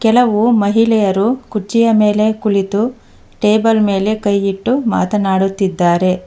ಕೆಲವು ಮಹಿಳೆಯರು ಕುಚ್ಛಿಯ ಮೆಲೆ ಕುಳಿತು ಟೇಬಲ್ ಮೇಲೆ ಕೈಯಿಟ್ಟು ಮಾತನಾಡುತ್ತಿದ್ದಾರೆ.